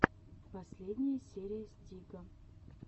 последняя серия стига